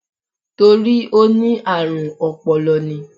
Torí ó ní àrùn ọpọlọ ni.